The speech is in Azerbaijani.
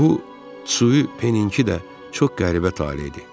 Bu Tsupenin ki də çox qəribə tale idi.